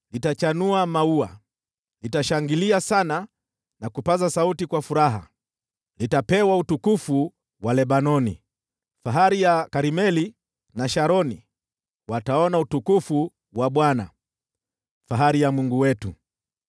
litachanua maua, litashangilia sana na kupaza sauti kwa furaha. Litapewa utukufu wa Lebanoni, fahari ya Karmeli na Sharoni; wataona utukufu wa Bwana , fahari ya Mungu wetu.